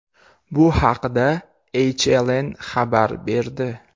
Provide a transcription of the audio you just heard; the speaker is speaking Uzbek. Bu haqda HLN xabar berdi .